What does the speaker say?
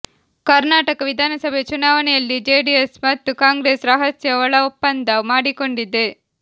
ಕರ್ನಾಟಕ ವಿಧಾನಸಭೆ ಚುನಾವಣೆಯಲ್ಲಿ ಜೆಡಿಎಸ್ ಮತ್ತು ಕಾಂಗ್ರೆಸ್ ರಹಸ್ಯ ಒಳ ಒಪ್ಪಂದ ಮಾಡಿಕೊಂಡಿದೆ